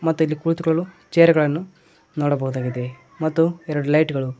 ಮತ್ತೆ ಇಲ್ಲಿ ಕುಳಿತುಕೊಳ್ಳಲು ಚೇರ್ ಗಳನ್ನು ನೋಡಬಹುದಾಗಿದೆ ಮತ್ತು ಎರಡು ಲೈಟ್ ಗಳು.